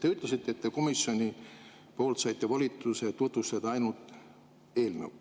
Te ütlesite, et saite komisjoni poolt volituse tutvustada ainult eelnõu.